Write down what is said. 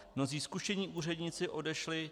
Mnozí zkušení úředníci odešli.